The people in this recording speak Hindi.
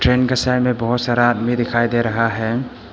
ट्रेन का सामने बहोत सारा आदमी दिखाई दे रहा है।